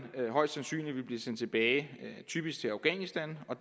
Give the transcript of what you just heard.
højst sandsynligt vil blive sendt tilbage typisk til afghanistan og